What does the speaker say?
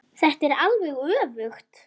Þetta er alveg öfugt.